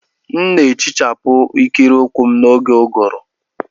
M na-ehichapụ ikiri ụkwụ m n'oge ụ́gụụ̀rụ́.